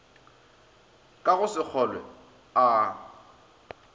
ka go se kgolwe a